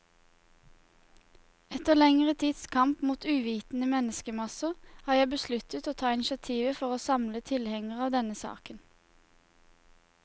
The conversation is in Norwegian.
Etter lengre tids kamp mot uvitende menneskemasser, har jeg besluttet å ta initiativet for å samle alle tilhengere av denne saken.